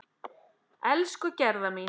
Elsku Gerða mín.